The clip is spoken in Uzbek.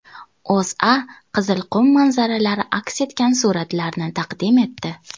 O‘zA Qizilqum manzaralari aks etgan suratlarni taqdim etdi .